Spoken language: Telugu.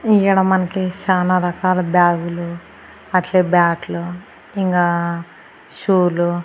ఈడ మనకి సానా రకాల బ్యాగులు అట్లే బ్యాట్లు ఇంగా షూలు .